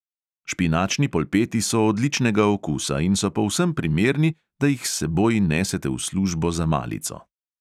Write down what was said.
Špinačni polpeti so odličnega okusa in so povsem primerni, da jih s seboj nesete v službo za malico.